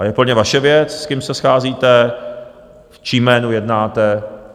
A je plně vaše věc, s kým se scházíte, v čím jménu jednáte.